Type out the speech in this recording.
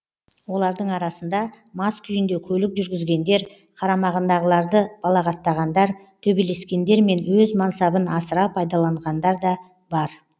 олардың арасында мас күйінде көлік жүргізгендер қарамағындағыларды балағаттағандар төбелескендер мен өз мансабын асыра пайдаланғандар да бар